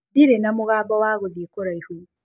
Ndĩrĩ na mũbango wa gũthĩĩ kũraĩhũ.